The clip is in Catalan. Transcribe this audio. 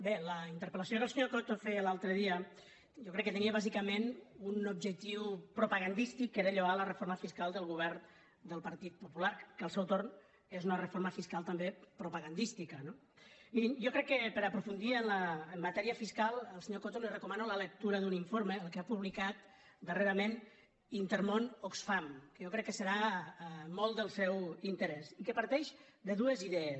bé la interpel·lació que el senyor coto feia l’altre dia jo crec que tenia bàsicament un objectiu propagandístic que era lloar la reforma fiscal del govern del partit popular que al seu torn és una reforma fiscal també propagandística no mirin jo crec que per aprofundir en matèria fiscal al senyor coto li recomano la lectura d’un informe el que ha publicat darrerament intermón oxfam que jo crec que serà molt del seu interès i que parteix de dues idees